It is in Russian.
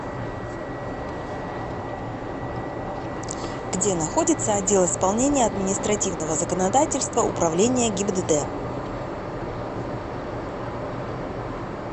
где находится отдел исполнения административного законодательства управления гибдд